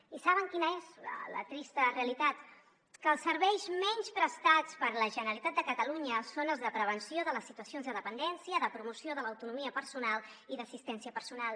i saben quina és la trista realitat que els serveis menys prestats per la generalitat de catalunya són els de prevenció de les situacions de dependència de promoció de l’autonomia personal i d’assistència personal